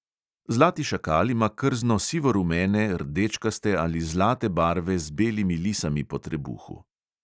Zlati šakal ima krzno sivorumene, rdečkaste ali zlate barve z belimi lisami po trebuhu.